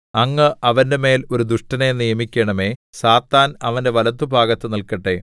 അങ്ങ് അവന്റെമേൽ ഒരു ദുഷ്ടനെ നിയമിക്കണമേ സാത്താൻ അവന്റെ വലത്തുഭാഗത്തു നില്‍ക്കട്ടെ